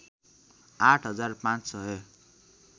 आठ हजार पाँच सय